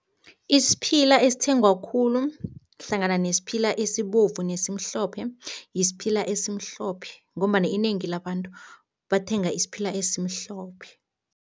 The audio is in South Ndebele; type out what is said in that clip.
Isiphila esithengwa khulu hlangana nesiphila esibovu nesimhlophe, yisiphila esimhlophe ngombana inengi labantu bathenga isiphila esimhlophe.